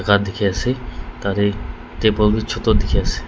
kan dikhiase tatae table bi choto dikhiase.